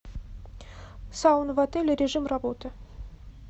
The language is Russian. сауна в отеле режим работы